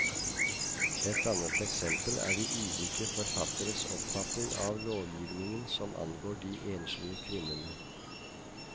Et annet eksempel er de ulike forfatteres oppfatning av lovgivningen som angår de enslige kvinnene.